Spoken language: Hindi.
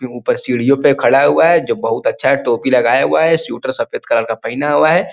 ये ऊपर सीढ़यों पर खड़ा हुआ है जो बहुत अच्छा टोपी लगाया हुआ है स्वेटर सफेद कलर का पहना हुआ है --